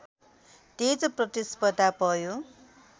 तेज प्रतिस्पर्धा भयो